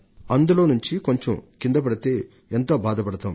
అందులో నుండి ఏ కొంచెం కిందపడినా మనం మన అంతరంగంలో వేదన పడిపోతాం